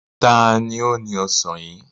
Ta ni ó ni ọ̀sán yìí?